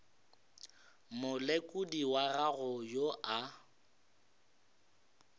molekodi wa gago yo a